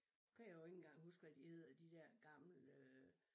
Nu kan jeg jo ikke engang huske hvad de hedder de der gamle